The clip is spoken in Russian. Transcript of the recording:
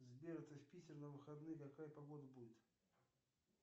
сбер ты в питер на выходные какая погода будет